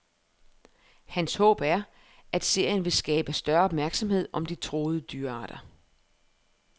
Hans håb er, at serien vil skabe større opmærksomhed om de truede dyrearter.